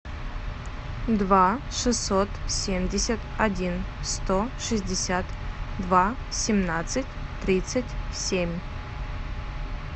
два шестьсот семьдесят один сто шестьдесят два семнадцать тридцать семь